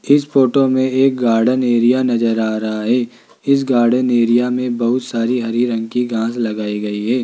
इस फोटो में एक गार्डन एरिया नज़र आ रहा है इस गार्डन एरिया में बहुत सारी हरी रंग की घास लगाई गई है।